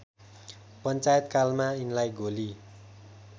पञ्चायतकालमा यिनलाई गोली